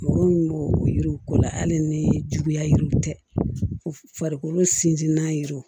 Mɔgɔ min b'o o yiriw ko la hali ni juguyaziw tɛ farikolo sinsinnen do